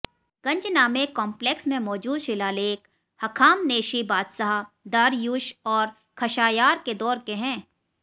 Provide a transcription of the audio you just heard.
Ganjnameh complex में मौजूद शिलालेख हख़ामनेशी बादशाह दारयूश और ख़शायार के दौर के हैं